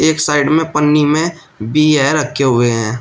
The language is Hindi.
एक साइड में पन्नी में भी यें रखे हुए हैं।